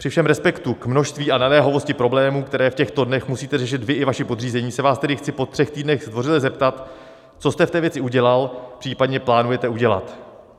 Při všem respektu k množství a naléhavosti problémů, které v těchto dnech musíte řešit vy i vaši podřízení, se vás tedy chci po třech týdnech zdvořile zeptat, co jste v té věci udělal, případně plánujete udělat.